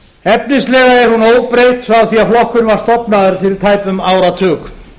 efnislega er hún óbreytt frá því flokkurinn var stofnaður fyrir tæpum áratug